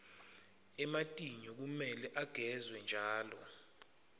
ematinyo kumele agezwe njalo